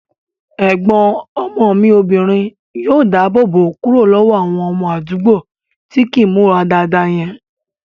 Ẹ̀gbọ́n ọmọ mi obìnrin yóò dáàbò bò kúrò lọ́wọ́ àwọn ọmọ àdúgbò tí kìí n múra dáadáa yẹn